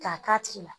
K'a k'a tigi la